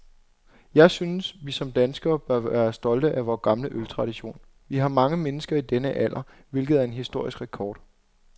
Jeg synes, vi som danskere bør være stolte af vor gamle øltradition. Vi har mange mennesker i denne alder, hvilket er en historisk rekord.